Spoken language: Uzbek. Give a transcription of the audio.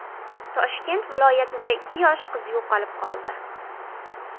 Toshkent viloyatida ikki yosh qiz yo‘qolib qoldi.